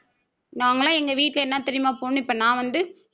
நாங்கெல்லாம் எங்க வீட்டுல என்ன தெரியுமா போடணும் இப்ப நான் வந்து